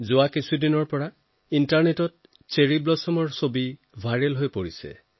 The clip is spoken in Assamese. বিগত দি কেইটাত চেৰী ফুলৰ ভাইৰেল ছবিৰে ইণ্টাৰনেট ভৰি পৰিছে